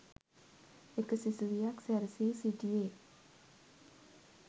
එක සිසුවියක් සැරසී සිටියේ